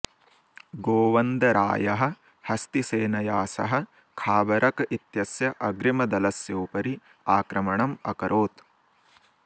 गोवन्दरायः हस्तिसेनया सह खाबरक इत्यस्य अग्रिमदलस्योपरि आक्रमणम् अकरोत्